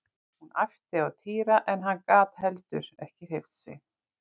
Hún æpti á Týra en hann gat heldur ekki hreyft sig.